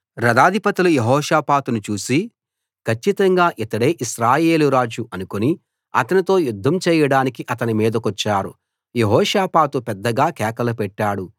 రథాధిపతులు యెహోషాపాతును చూసి కచ్చితంగా ఇతడే ఇశ్రాయేలు రాజు అనుకుని అతనితో యుద్ధం చేయడానికి అతని మీదికొచ్చారు యెహోషాపాతు పెద్దగా కేకలు పెట్టాడు